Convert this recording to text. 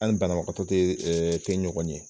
An ni banabagatɔ te ɛɛ tɛ ɲɔgɔn ye .